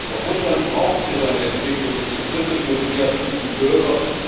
Doch Russland braucht für seine Entwicklung diese kritischen und kreativen Bürger.